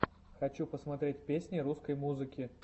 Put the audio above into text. хочу посмотреть песни русской музыки